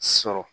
Sɔrɔ